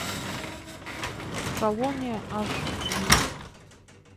колония аш ди